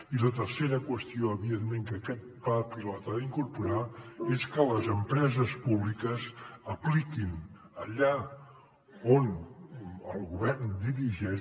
i la tercera qüestió evidentment que aquest pla pilot ha d’incorporar és que les empreses públiques apliquin allà on el govern dirigeix